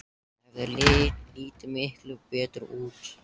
Það hefði litið miklu betur út.